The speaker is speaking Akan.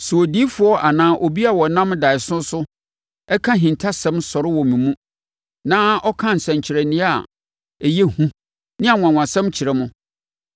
Sɛ odiyifoɔ anaa obi a ɔnam daeɛso so ka ahintasɛm sɔre wɔ mo mu na ɔka nsɛnkyerɛnneɛ a ɛyɛ hu ne anwanwasɛm kyerɛ mo,